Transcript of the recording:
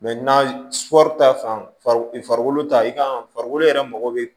na su ta fan farikolo ta i ka farikolo yɛrɛ mago bɛ